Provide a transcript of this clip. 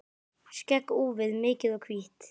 Skegg úfið, mikið og hvítt.